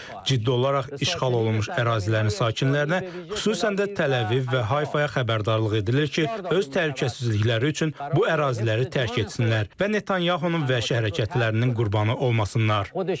Ciddi olaraq işğal olunmuş ərazilərin sakinlərinə, xüsusən də Təl-Əviv və Hayfaya xəbərdarlıq edilir ki, öz təhlükəsizlikləri üçün bu əraziləri tərk etsinlər və Netanyahunun vəhşi hərəkətlərinin qurbanı olmasınlar.